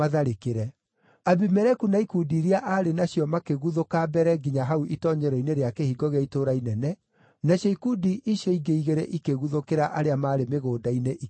Abimeleku na ikundi iria aarĩ nacio makĩguthũka mbere nginya hau itoonyero-inĩ rĩa kĩhingo gĩa itũũra inene, nacio ikundi icio ingĩ igĩrĩ ikĩguthũkĩra arĩa maarĩ mĩgũnda-inĩ, ikĩmooraga.